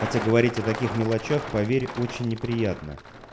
хотя говорить о таких мелочах поверь очень неприятно